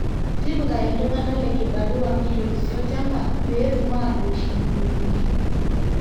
tipika iltung'anak le kibarua meitorisio olchamba pee etum aatoosh iululuni